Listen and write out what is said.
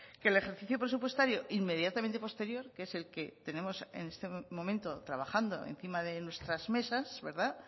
que el ejercicio presupuestario inmediatamente posterior que es el que tenemos en este momento trabajando encima de nuestras mesas verdad